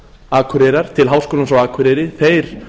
akureyrar til háskólans á akureyri þeir